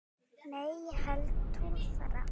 Nei ég held tólfta.